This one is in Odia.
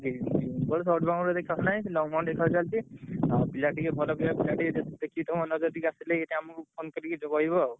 Green ball short boundary ଏତେ ଖେଳ ନାହିଁ। ସେ long ଖେଳ ଚାଲିଚି। ଆଉ ପିଲା ଟିକେ ଭଲ ଖେଳିଆ ପିଲା ଟିକେ ଯଦି ଯଦି ଆସିଲେ phone କରି କହିବ ଆଉ।